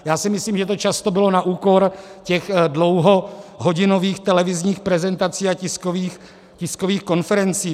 Já si myslím, že to často bylo na úkor těch dlouhohodinových televizních prezentací a tiskových konferencí.